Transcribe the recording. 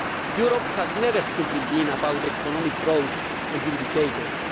Europe has never simply been about economic growth and indicators.